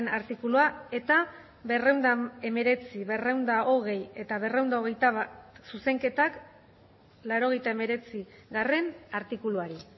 artikulua eta berrehun eta hemeretzi berrehun eta hogei eta berrehun eta hogeita bat zuzenketak laurogeita hemeretzigarrena artikuluari